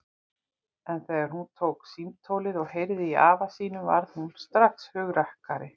En þegar hún tók símtólið og heyrði í afa sínum varð hún strax hugrakkari.